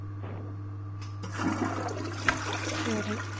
செரி.